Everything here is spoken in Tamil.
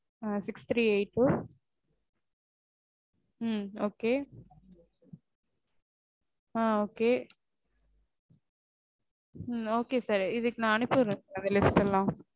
ஆஹ் six three eight two um ok ah ok um ok sir. நா இதுக்கு அனுப்பிவிடுறேன் sir அந்த list எல்லாம்